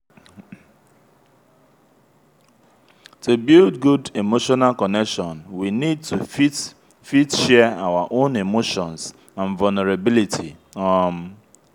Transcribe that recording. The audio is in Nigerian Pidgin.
to build good emotional connection we need to fit fit share our own emotions and vulnerability um